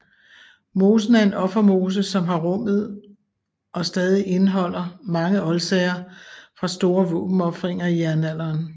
Mosen er en offermose som har rummet og stadig indeholder mange oldsager fra store våbenofringer i jernalderen